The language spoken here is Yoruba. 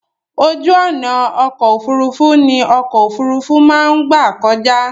Ojú ọ̀nà ọkọ̀ òfurufú ní ọkọ̀ òfurufú má ń gbà kọjá.